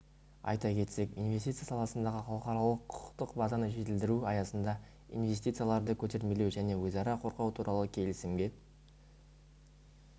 айта кетсек инвестиция саласындағы халықаралық құқықтық базаны жетілдіру аясында инвестицияларды көтермелеу және өзара қорғау туралы келісімге